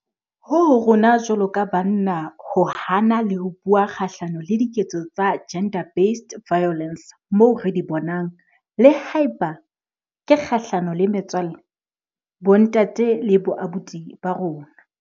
Ho ho rona jwalo ka banna ho hana le ho bua kgahlano le diketso tsa GBV moo re di bonang, le haeba ke kgahlano le metswalle, bontate le boabuti ba rona.